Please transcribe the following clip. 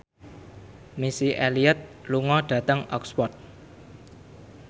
Missy Elliott lunga dhateng Oxford